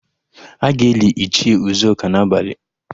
A ga-eli Ichie Ụzọka n'abalị.